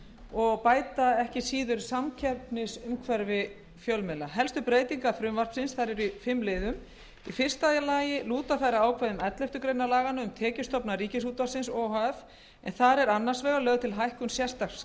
og bæta ekki síður samkeppnisumhverfi fjölmiðla helstu breytingar frumvarpsins eru í fimm liðum í fyrsta lagi lúta þær að ákvæðum elleftu grein laganna um tekjustofna ríkisútvarpsins o h f er þar annars vegar lögð til hækkun sérstaks